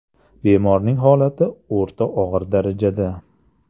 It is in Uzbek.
Bemorning holati o‘rta og‘ir darajada.